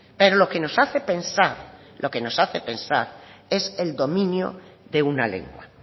pero lo que nos hace pensar lo que nos hace pensar es el dominio de una lengua